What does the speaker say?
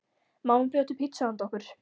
Mamma bjó til pitsu handa okkur.